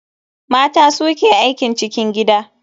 Mata su ke aikin cikin gida.